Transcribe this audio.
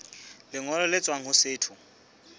lengolo le tswang ho setho